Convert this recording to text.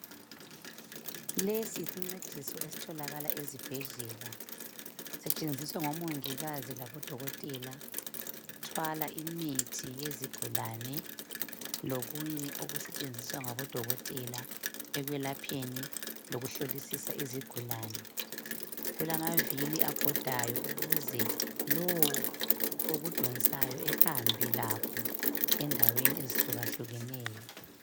lesi yisincediso esitholakala ezibhedlela sisetshenziswa ngomongikazi labo dokotela ukuthwala imithi yezigulane lokunye oketshenziswa ngabo dokotela ekwelapheni lokuhlolisisa izigulane kulamavili abhodayo ukuze lowo okudonsayo ahambe lakho endaweni ezihlukahlukaneyo